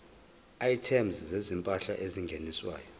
items zezimpahla ezingeniswayo